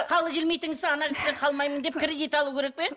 халі келмейтін кісі ана кісіден қалмаймын деп кредит алу керек пе